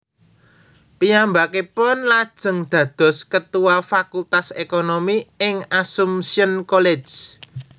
Piyambakipun lajeng dados ketua Fakultas Ekonomi ing Assumption College